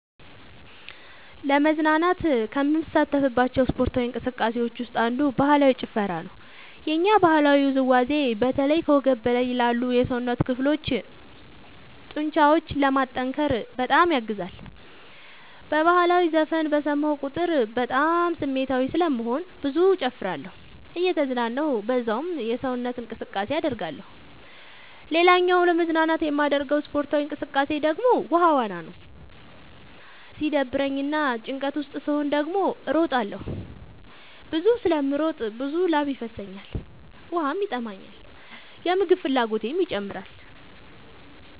ለመዝናናት ከምሳተፍባቸው ስፓርታዊ እንቅስቃሴዎች ውስጥ አንዱ ባህላዊ ጭፈራ ነው። የኛ ባህላዊ ውዝዋዜ በተለይ ከወገብ በላይ ላሉ የሰውነት ክፍሎ ጡንቻዎችን ለማጠንከር በጣም ያግዛል። በህላዊ ዘፈን በሰማሁ ቁጥር በጣም ስሜታዊ ስለምሆን ብዙ እጨፍራለሁ እየተዝናናሁ በዛውም ሰውነት እንቅስቃሴ አደርጋለሁ። ሌላኛው ለመዝናናት የማደርገው ስፖርታዊ እንቅቃሴ ደግሞ ውሃ ዋና ነው። ሲደብረኝ እና ጭንቀት ውስጥ ስሆን ደግሞ እሮጣለሁ። ብዙ ስለምሮጥ ብዙ ላብ ይፈሰኛል ውሃም ይጠማኛል የምግብ ፍላጎቴም ይጨምራል።